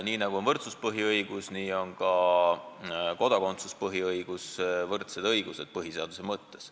Nii nagu on võrdsus põhiõigus, nii on ka kodakondsus põhiõigus – need on võrdsed õigused põhiseaduse mõttes.